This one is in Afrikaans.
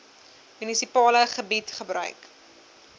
munisipale gebied gebruik